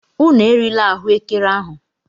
Unu erila ahuekere ahu!